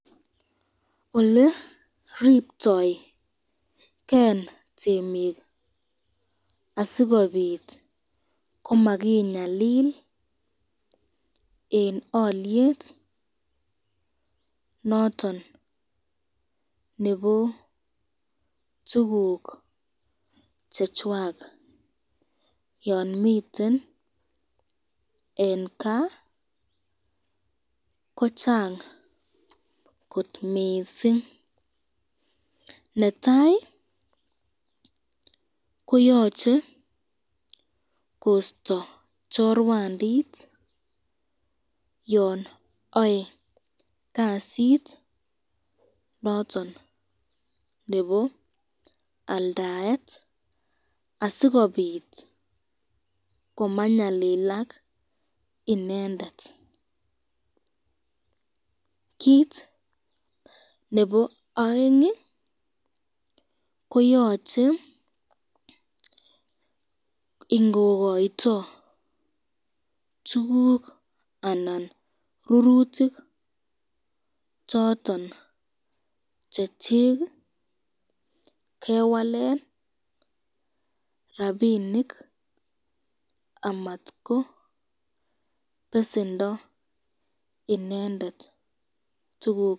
Oleriptoiken temik asikobit komakinyalil eng olyet noton nebo tukuk chechwak yon miten eng kaa o Chang kot missing netai ko yachei kosto chorwandit ton ae kasit noton nebo aldaet asikobit komanyalilak inendet, kit nebo aeng ko yachei ,ingokoito tukuk anan rurutik choton Chechik kewalen rapinik amatkobesendo inendet tukuk.